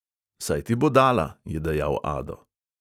Saj ti bo dala, je dejal ado.